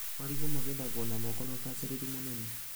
Marigũ magethagwo na moko na ũbacĩrĩri mũnene.